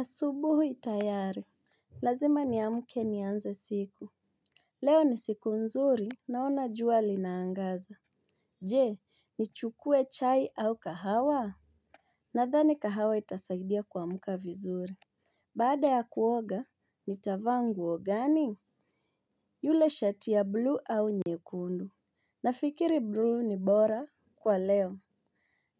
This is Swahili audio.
Asubuhui tayari. Lazima niamuke nianze siku. Leo ni siku nzuri naona jua linaangaza. Je ni chukue chai au kahawa. Nadhani kahawa itasaidia kwa muka vizuri. Bada ya kuoga ni tavangu ogani. Yule shati ya blu au nyekundu. Nafikiri blu ni bora kwa leo.